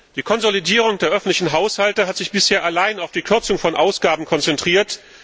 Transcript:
Die Konsolidierung der öffentlichen Haushalte hat sich bisher allein auf die Kürzung von Ausgaben konzentriert.